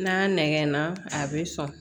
N'a nɛgɛnna a be sɔn